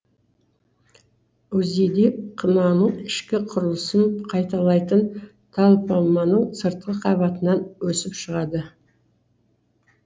узийди қынаның ішкі құрылысын қайталайтын танпомманың сыртқы қабатынан өсіп шығады